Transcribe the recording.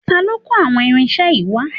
Ta ló kó àwọn irinṣẹ́ yìí wá?